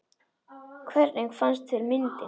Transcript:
Hvernig fannst þér myndin?